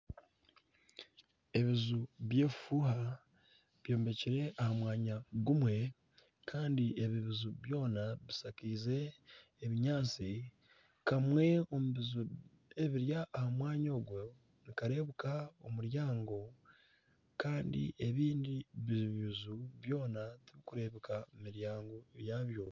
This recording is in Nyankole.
Ebiju by'ebifuuha byombekire aha mwanya gumwe kandi ebi biju byona bishakaize obunyaatsi. Kamwe omu buju oburi aha mwanya ogu nikareebeka omuryango. Kandi ebindi biju byona tibikureebeka miryango yabyo.